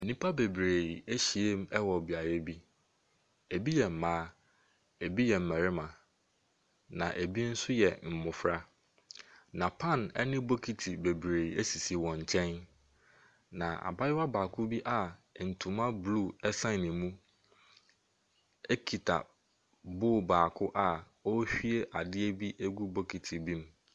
Nnipa beberee ahyia mu wɔ beaeɛ bi. Ebi yɛ mmaa, ebi yɛ mmarima na ebi nso yɛ mmofra. Na pan ne bokiti bebree esisi wɔn nkyɛn. Na abaayewa baako bi a ntoma blue san ne mu ekita bowl baako a ɔrehwie ade agu bokiti bi mu.